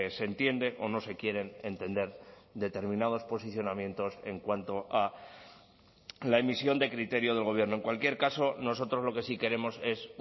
se entiende o no se quieren entender determinados posicionamientos en cuanto a la emisión de criterio del gobierno en cualquier caso nosotros lo que sí queremos es